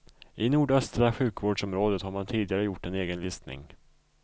I nordöstra sjukvårdsområdet har man tidigare gjort en egen listning.